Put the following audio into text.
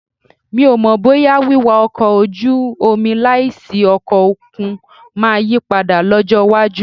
Mi ò mọ̀ bóyá wíwá ọkọ̀ ojú omi láìsí ọkọ̀ òkun máa yí padà lọ́jọ́ iwájú